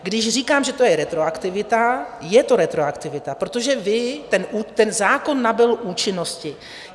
Když říkám, že to je retroaktivita, je to retroaktivita, protože ten zákon nabyl účinnosti.